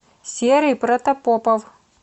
серый протопопов